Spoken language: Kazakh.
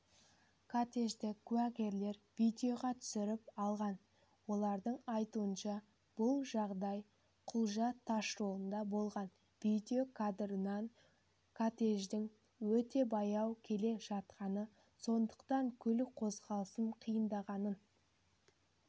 кортежді куәгерлер видеоға түсіріп алған олардың айтуынша бұлжағдайқұлжа тасжолында болған видео кадрларынан кортеждің өте баяу келе жатқанын сондықтан көлік қозғалысының қиындағанын